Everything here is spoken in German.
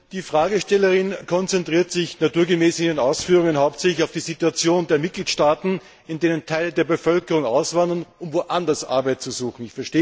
Die Fragestellerin konzentriert sich in ihren Ausführungen naturgemäß hauptsächlich auf die Situation der Mitgliedstaaten, aus denen Teile der Bevölkerung auswandern, um woanders Arbeit zu suchen.